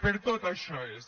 per tot això és